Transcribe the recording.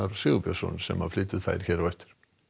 Sigurbjörnsson sem flytur þær hér á eftir